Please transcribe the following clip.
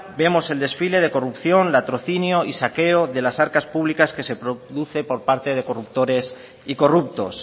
vemos el desfile de corrupción latrocinio y saqueo de las arcas públicas que se produce por parte de corruptores y corruptos